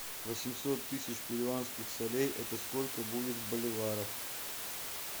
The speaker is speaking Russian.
восемьсот тысяч перуанских солей это сколько будет в боливарах